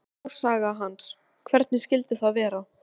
Fyrsta smásaga hans, Hvernig skyldi það vera?